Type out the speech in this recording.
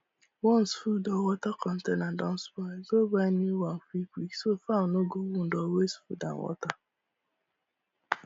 once food or water container don spoil go buy new one quick quick so fowl no go wound or waste food and water